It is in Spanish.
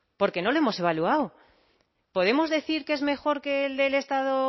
porque no lo hemos evaluado podemos decir que es mejor que el del estado